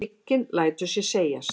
Hygginn lætur sér segjast.